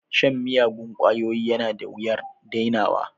Shan miyagun ƙwayoyi yana da wuyar dainawa